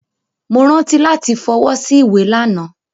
Mo rántí lati f'ọwọ́ sí ìwé lana.